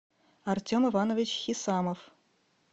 артем иванович хисамов